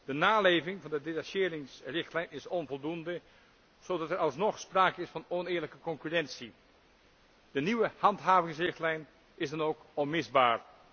De naleving van de detacheringsrichtlijn is onvoldoende, zodat er alsnog sprake is van oneerlijke concurrentie. De nieuwe handhavingsrichtlijn is dan ook onmisbaar.